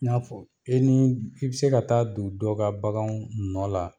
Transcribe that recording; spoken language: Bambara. I n'afɔ e ni i bi se ka taa don dɔ ka bagan nɔ la